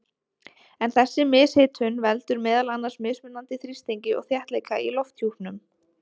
En þessi mishitun veldur meðal annars mismunandi þrýstingi og þéttleika í lofthjúpnum.